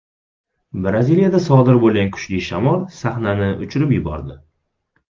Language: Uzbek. Braziliyada sodir bo‘lgan kuchli shamol sahnani uchirib yubordi.